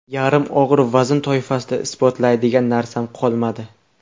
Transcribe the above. Yarim og‘ir vazn toifasida isbotlaydigan narsam qolmadi.